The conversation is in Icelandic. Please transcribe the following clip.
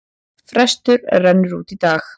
Frestur rennur út í dag.